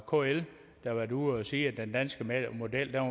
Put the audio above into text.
kl har været ude at sige at den danske model var